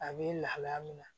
A bɛ lahalaya min na